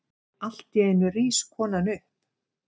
Alltíeinu rís konan upp.